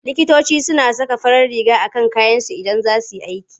Likitoci suna saka farar riga a kan kayansu Idan za su yi aiki.